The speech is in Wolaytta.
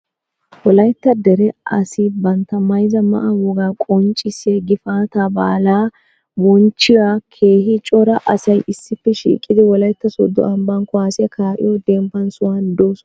wolaytta dere asai bantta mayyza ma'aa woga qonccissiyaa gifata baalaa bonchchiyaa keehii coora asai issippe shiiqqidi wolaytta soddo ambbaan kuwassiyaa ka'iyoo deembbaa sohuwan doosonnaa